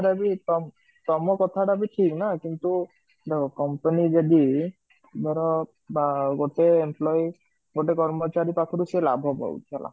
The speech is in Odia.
ତଥାପି ତମ କଥାଟା ଠିକ ନା କିନ୍ତୁ ଦେଖ company ଯଦି ଧର ବା ଗୋଟେ employee ଗୋଟେ କର୍ମଚାରୀ ପାଖରୁ ସେ ଲାଭ ପାଉଛି